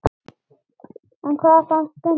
En hvað fannst Gunnari?